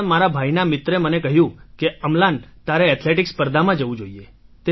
પણ મારા ભાઈના મિત્રે મને કહ્યું કે અમ્લાન તારે એથ્લેટિક્સ સ્પર્ધામાં જવું જોઈએ